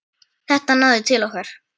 Þetta náði til okkar.